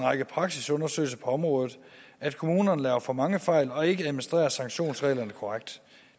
række praksisundersøgelser på området at kommunerne laver for mange fejl og ikke administrerer sanktionsreglerne korrekt